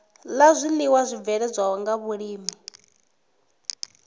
la zwiiwa zwibveledzwaho nga vhulimi